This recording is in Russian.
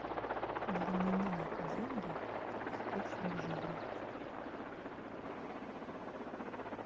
для меня деньги это источник жизни